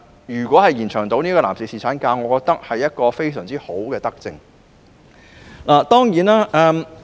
如能延長男士侍產假，我認為會是非常合宜的德政。